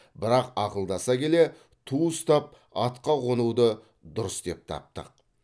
бірақ ақылдаса келе ту ұстап атқа қонуды дұрыс деп таптық